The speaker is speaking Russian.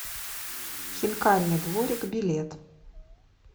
хинкальный дворик билет